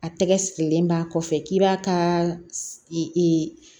A tɛgɛ sirilen b'a kɔfɛ k'i b'a ka